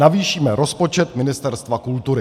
Navýšíme rozpočet Ministerstva kultury.